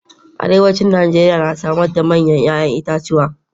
Arewacin Najeriya na samar da manyan 'ya'yan itatuwa